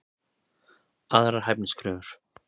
Aðrar hæfniskröfur: